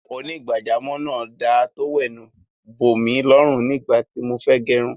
Onígbàjámọ̀ náà da tówẹ́ẹ́nù bòmí lọrù nígbà tí mo fẹ́ gẹrun